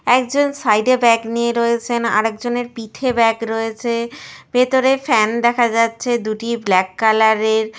একজন সাইড -এ ব্যাগ নিয়ে রয়েছেন আর একজনের পিঠে ব্যাগ রয়েছে। ভিতরে ফ্যান দেখা যাচ্ছে দুটি ব্ল্যাক কালার -এর।